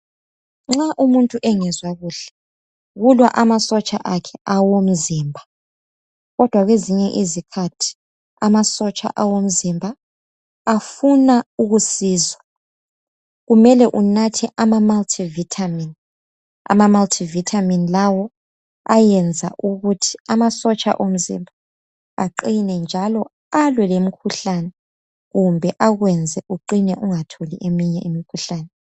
Nxa umuntu engazwa kuhle ulamasotsha akhe awomzimba kodwa ngezinye izikhathi amasotsha omzimba afuna ukusizwa kumele unathe amamulti vitamin ama mult vitamin lawo ayayenza ukuthi amasotsha omzimba aqine njalo alwe lemikhuhlane kumbe akwenze uqine ungatholi eminye imikhuhlane